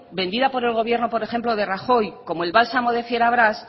vendida por el gobierno por ejemplo de rajoy como el bálsamo de fierabras